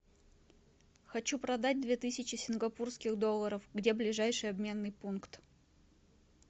хочу продать две тысячи сингапурских долларов где ближайший обменный пункт